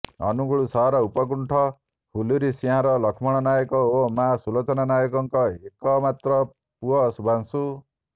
ଅନୁଗୁଳ ସହର ଉପକଣ୍ଠ ହୁଲୁରିସିଂହାର ଲକ୍ଷ୍ମଣ ନାୟକ ଓ ମା ସୁଲୋଚନା ନାୟକଙ୍କ ଏକ ମାତ୍ର ପୁଅ ଶୁଭ୍ରାଂଶୁ